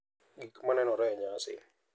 Gik ma nenore e nyasi